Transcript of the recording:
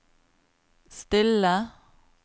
stille